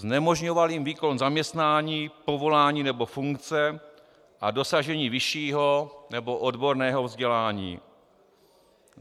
znemožňoval jim výkon zaměstnání, povolání nebo funkce a dosažení vyššího nebo odborného vzdělání,